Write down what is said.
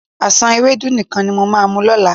Àsán ewédú nìkan ni mo máa mu lọ́la.